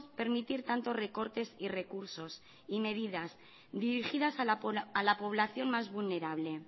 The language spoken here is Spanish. permitir tanto recortes y recursos y medidas dirigidas a la población más vulnerable